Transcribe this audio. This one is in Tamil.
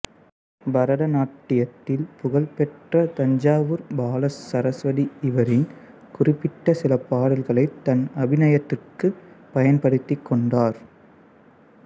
பரத நாட்டியத்தில் புகழ் பெற்ற தஞ்சாவூர் பாலசரஸ்வதி இவரின் குறிப்பிட்ட சில பாடல்களைத் தன் அபிநயத்திற்குப் பயன்படுத்திக் கொண்டார்